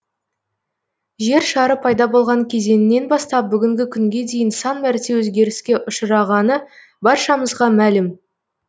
жер шары пайда болған кезеңінен бастап бүгінгі күнге дейін сан мәрте өзгеріске ұшырағаны баршамызға мәлім